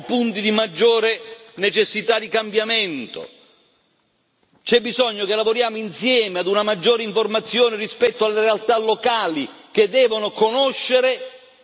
C'è bisogno che lavoriamo insieme a una maggiore informazione rispetto alle realtà locali, che devono conoscere e devono saper candidarsi a queste opportunità.